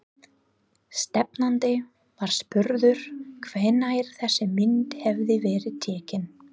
Stefnandi var spurður hvenær þessi mynd hefði verið tekin?